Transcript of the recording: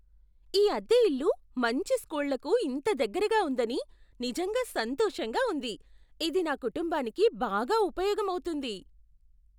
ఈ అద్దె ఇల్లు మంచి స్కూళ్ళకు ఇంత దగ్గరగా ఉందని నిజంగా సంతోషంగా ఉంది. ఇది నా కుటుంబానికి బాగా ఉపయోగం అవుతుంది.